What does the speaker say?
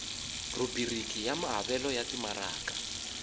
rhubiriki ya maavelo ya timaraka